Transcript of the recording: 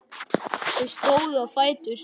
Þau stóðu á fætur.